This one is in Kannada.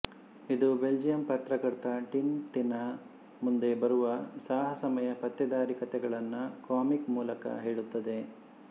ಇದು ಬೆಲ್ಜಿಯಂ ಪತ್ರಕರ್ತ ಟಿನ್ ಟಿನ್ನ ಮುಂದೆ ಬರುವ ಸಾಹಸಮಯ ಪತ್ತೇದಾರಿ ಕಥೆಗಳನ್ನು ಕಾಮಿಕ್ ಮೂಲಕ ಹೇಳುತ್ತದೆ